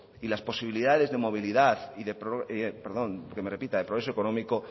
y las posibilidades de movilidad y de progreso económico